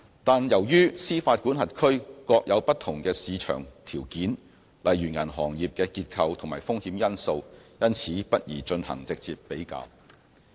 但是，由於司法管轄區各有不同的市場條件，例如銀行業的結構及風險因素，因此不宜進行直接比較。